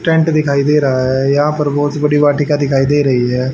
Tent दिखाई दे रहा है यहां पर बहुत बड़ी वाटिका दिखाई दे रही है।